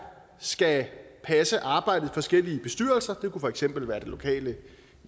skal passe arbejdet i forskellige bestyrelser det kunne for eksempel være i det lokale